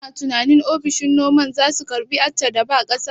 Kana tunanin ofishin noman zasu karbi Accha da ba ƙasa?